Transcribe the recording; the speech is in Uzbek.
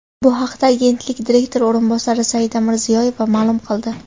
Bu haqda agentlik direktori o‘rinbosari Saida Mirziyoyeva ma’lum qildi .